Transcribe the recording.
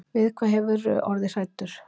Við hvað hefurðu orðið hræddur.